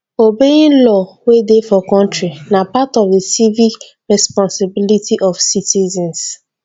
obeying law wey dey for country na part of di civic responsibility of citizens